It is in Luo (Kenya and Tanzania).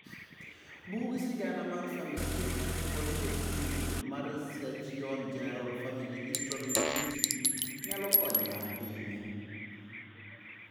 Bug sigana mar Family Health Portrait Tool mar Surgeon General's Family History Initiative, nyalo konyo ahinya.